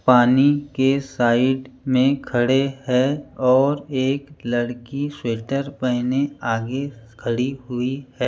पानी के साइड में खड़े हैं और एक लड़की स्वेटर पहने आगे खड़ी हुई है।